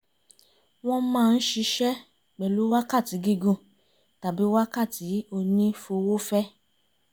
wọ́n máa ń ṣiṣẹ́ pẹ̀lú wákàtí gígùn tàbí wákàtí onífowófẹ́